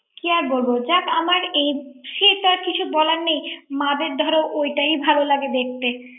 কি আর বলব যাক আমার এই সে তো আমার কিছু বলার নেই মা দের ধরো ওইটাই ভালো লাগে দেখতে